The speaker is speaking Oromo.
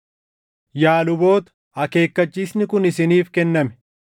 “Yaa luboota akeekkachiisni kun isiniif kenname.